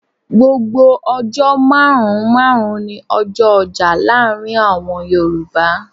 Gbogbo ọjọ́ márùn-ún márùn-ún ní ọjọ ọjà láàárín àwọn Yoruba.